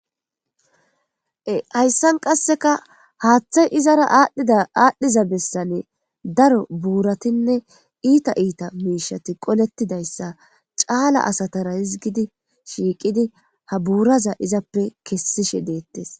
hayssan qasseka haaththay izara aadhdhiza bessane daro buuratinne iita iita miishati qolettidayssa caala asatara hizgidi shiiqidi ha buuraza izappe kessishe deettes